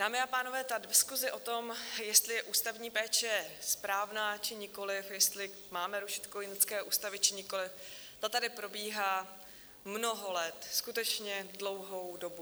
Dámy a pánové, ta diskuse o tom, jestli je ústavní péče správná, či nikoliv, jestli máme rušit kojenecké ústavy, či nikoliv, ta tady probíhá mnoho let, skutečně dlouhou dobu.